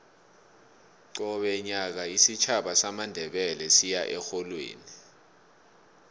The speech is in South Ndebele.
qobe nyaka isitjhaba samandebele siya erholweni